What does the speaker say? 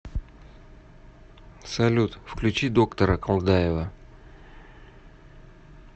салют включи доктора колдаева